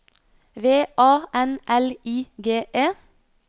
V A N L I G E